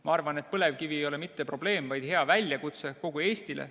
Ma arvan, et põlevkivi ei ole mitte probleem, vaid hea väljakutse kogu Eestile.